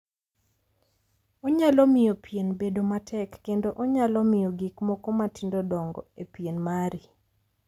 Onyalo miyo pien bedo matek kendo onaylo miyo gik moko matindo dongo e pieni mari.